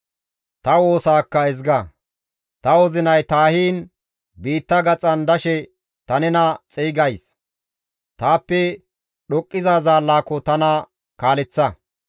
Ta wozinay taahiin biitta gaxan dashe ta nena xeygays; taappe dhoqqiza zaallaako tana kaaleththa.